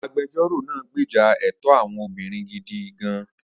Agbẹjọ́rò náà gbèjà ẹ̀tọ́ àwọn obìnrin gidi gan-an.